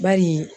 Bari